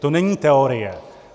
To není teorie.